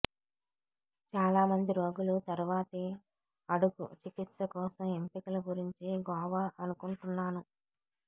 చాలామంది రోగులు తరువాతి అడుగు చికిత్స కోసం ఎంపికలు గురించి గోవా అనుకుంటున్నాను